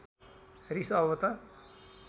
रिस अब त